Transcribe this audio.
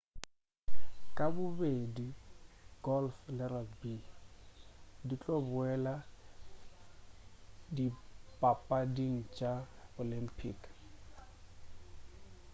ka bobedi golf le rugby di tlo boela dipapading tša di olympic